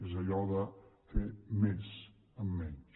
és allò de fer més amb menys